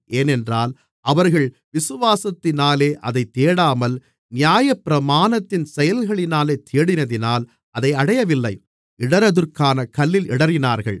ஏனென்றால் அவர்கள் விசுவாசத்தினாலே அதைத் தேடாமல் நியாயப்பிரமாணத்தின் செயல்களினாலே தேடினதினால் அதை அடையவில்லை இடறுதற்கான கல்லில் இடறினார்கள்